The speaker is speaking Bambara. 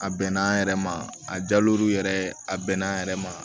A bɛnna an yɛrɛ ma a jalɔrɛ a bɛnna an yɛrɛ ma